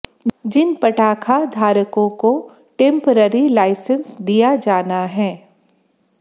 जिन पटाखा धारकों को टेंपरेरी लाइसेंस दिया जाना है